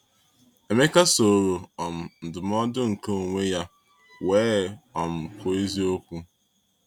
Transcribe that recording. Emeka soro um ndụmọdụ nke onwe ya wee um kwuo eziokwu.